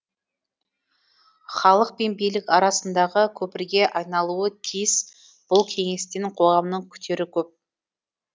халық пен билік арасындағы көпірге айналуы тиіс бұл кеңестен қоғамның күтері көп